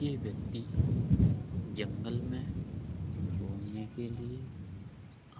ये व्यक्ति जंगल में घूमने के लिए